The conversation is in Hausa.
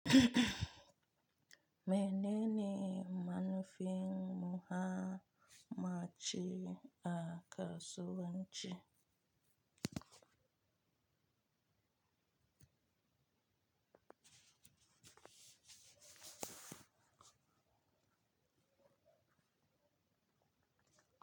Mene ne manufar mace a kasuwanci?